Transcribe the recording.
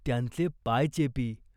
त्यांचे पाय चेपी.